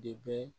De bɛ